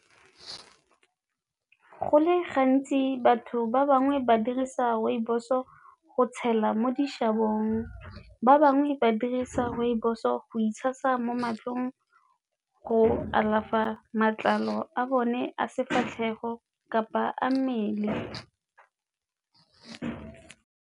Go le gantsi batho ba bangwe ba dirisa rooibos-o go tshela mo dishabong, ba bangwe ba dirisa rooibos-o go itshasa mo matsogong, go alafa matlalo a bone a sefatlhego kapa a mmele.